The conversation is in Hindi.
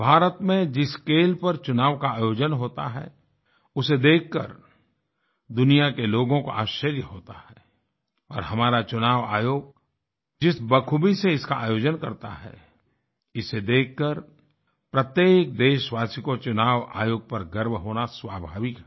भारत में जिस स्केल पर चुनाव का आयोजन होता है उसे देखकर दुनिया के लोगों को आश्चर्य होता है और हमारा चुनाव आयोग जिस बखूबी से इसका आयोजन करता है इसे देखकर प्रत्येक देशवासी को चुनाव आयोग पर गर्व होना स्वाभाविक है